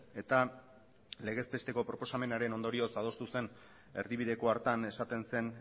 eta legez besteko proposamenaren ondorioz adostu zen erdibideko hartan esaten zen